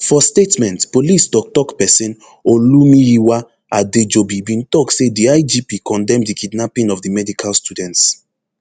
for statement police toktok pesin olumiyiwa adejobi bin tok say di igp condemn di kidnapping of di medical students